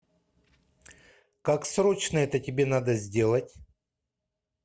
как срочно это тебе надо сделать